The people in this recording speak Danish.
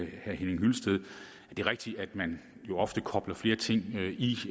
hyllested at det er rigtigt at man jo ofte kobler flere ting i